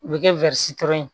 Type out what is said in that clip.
U bɛ kɛ ye